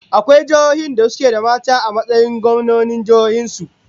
Akwai jiihohin da suke da mata a matsayin gwamnonin jihohin su?